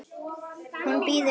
Hún bíður, sagði